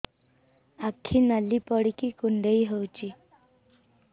ଆଖି ନାଲି ପଡିକି କୁଣ୍ଡେଇ ହଉଛି